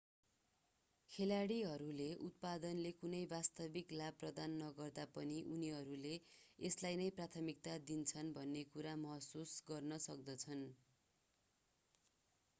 खेलाडीहरूले उत्पादनले कुनै वास्तविक लाभ प्रदान नगर्दा पनि उनीहरूले यसलाई नै प्राथमिकता दिन्छन् भन्ने कुरा महसुस गर्न सक्दछन्